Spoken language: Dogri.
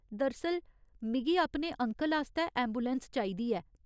दरअसल, मिगी अपने अंकल आस्तै ऐंबुलैंस चाहिदी ऐ।